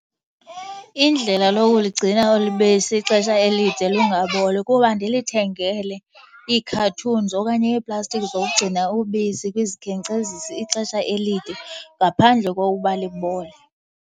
Indlela lokuligcina olu bisi ixesha elide lungaboli kuba ndilithengele ii-cartons okanye iiplastiki zokugcina ubisi kwizikhenkcezisi ixesha elide ngaphandle kokuba libole.